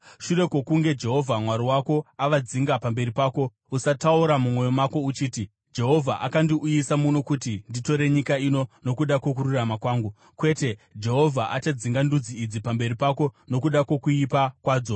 Shure kwokunge Jehovha Mwari wako avadzinga pamberi pako, usataura mumwoyo mako uchiti, “Jehovha akandiuyisa muno kuti nditore nyika ino nokuda kwokururama kwangu.” Kwete, Jehovha achadzinga ndudzi idzi pamberi pako nokuda kwokuipa kwadzo.